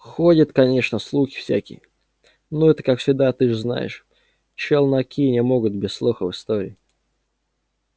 ходят конечно слухи всякие но это как всегда ты же знаешь челноки не могут без слухов и историй